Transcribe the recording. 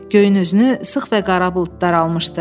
Göyün üzünü sıx və qara bulud daralmışdı.